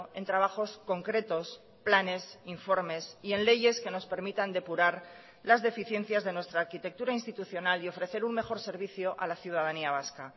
en trabajos concretos planes informes y en leyes que nos permitan depurar las deficiencias de nuestra arquitectura institucional y ofrecer un mejor servicio a la ciudadanía vasca